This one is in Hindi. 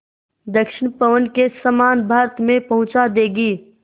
दक्षिण पवन के समान भारत में पहुँचा देंगी